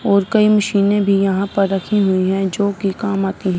और कई मशीने में भी यहां पर रखी हुई है जोकि काम आती--